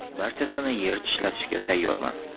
Barchasini yer tishlatishga tayyorman.